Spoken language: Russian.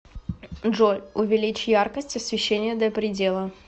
джой увеличь яркость освещения до предела